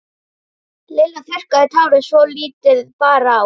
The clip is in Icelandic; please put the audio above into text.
Lilla þurrkaði tárin svo lítið bar á.